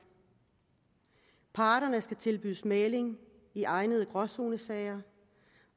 parterne skal tilbydes mægling i egnede gråzonesager